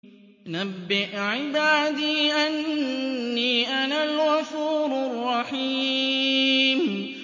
۞ نَبِّئْ عِبَادِي أَنِّي أَنَا الْغَفُورُ الرَّحِيمُ